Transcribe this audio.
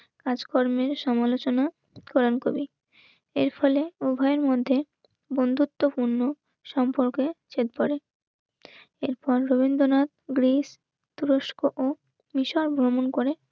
কাজকর্মের সমালোচনা, কোরান কবি. এর ফলে উভয়ের মধ্যে বন্ধুত্বপূর্ণ. সম্পর্কে এর পরে এরপর রবীন্দ্রনাথ গ্রিস তুরস্ক ও বিশাল ভ্রমণ